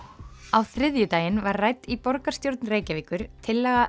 á þriðjudaginn var rædd í borgarstjórn Reykjavíkur tillaga